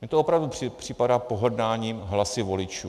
Mně to opravdu připadá pohrdáním hlasy voličů.